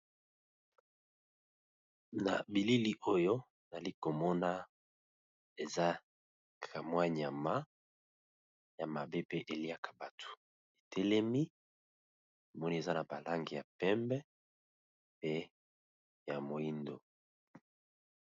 Na bilili oyo nali komona eza ka mwa nyama ya mabe pe eliaka batu, etelemi namoni eza na ba langi ya pembe pe ya moyindo.